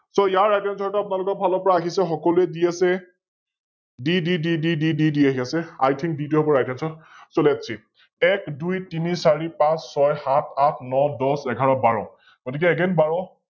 So ইয়াৰ RightAnswer টো আপোনালোকৰ ফালৰ পৰা আহিছে, সকলোৱে দি আছে, দি দি দি আহি আছে IThink দি দিব পৰা RightAnswer, SoLetSee, এক, দুই, তিনি, চাৰি, পাচ, ছয়, সাত, আঠ, ন, দশ, এঘাৰ, বাৰ । গতিকে Again বাৰ